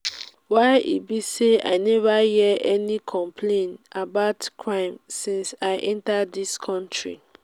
why e be say i never hear any complaint um about crime since i i enter dis country?